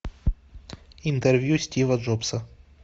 интервью стива джобса